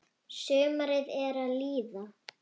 Sumarið er að líða.